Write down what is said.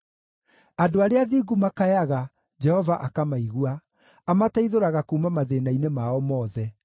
Andũ arĩa athingu makayaga, Jehova akamaigua; amateithũraga kuuma mathĩĩna-inĩ mao mothe.